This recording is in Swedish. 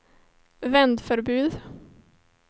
vändförbud